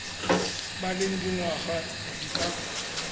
ba leng dingwaga di ka